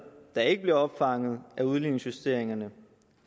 der ikke bliver opfanget af udligningsjusteringerne